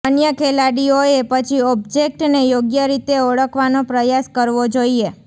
અન્ય ખેલાડીઓએ પછી ઓબ્જેક્ટને યોગ્ય રીતે ઓળખવાનો પ્રયાસ કરવો જોઈએ